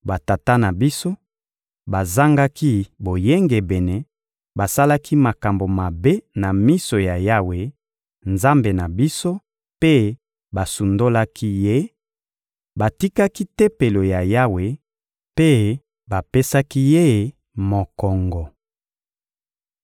Batata na biso bazangaki boyengebene, basalaki makambo mabe na miso ya Yawe, Nzambe na biso, mpe basundolaki Ye; batikaki Tempelo ya Yawe mpe bapesaki Ye mokongo.